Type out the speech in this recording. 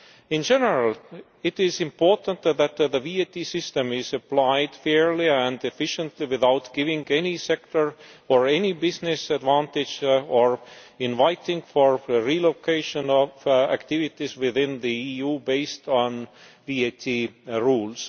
In general, it is important that the VAT system be applied fairly and efficiently, without giving any sector or any business an advantage, nor inviting the relocation of activities within the EU based on VAT rules.